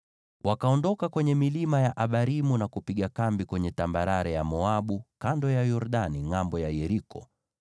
Wakaondoka kwenye milima ya Abarimu na kupiga kambi kwenye tambarare ya Moabu, kando ya Yordani ngʼambo ya Yeriko.